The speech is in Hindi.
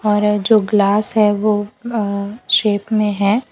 और जो ग्लास है वो अ शेप में है।